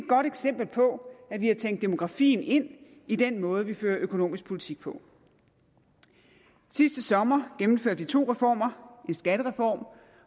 godt eksempel på at vi har tænkt demografien ind i den måde vi fører økonomisk politik på sidste sommer gennemførte vi to reformer en skattereform